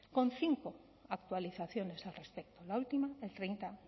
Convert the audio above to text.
con cinco actualizaciones al respecto la última el treinta